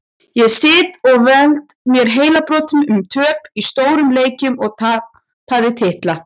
Ég sit og veld mér heilabrotum um töp í stórum leikjum og tapaða titla.